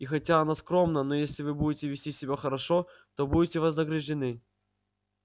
и хотя оно скромно но если вы будете вести себя хорошо то будете вознаграждены